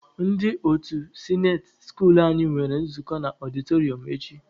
Ndị otu sinate skuulu anyị nwere nzukọ na ọdịtọrịọm echi.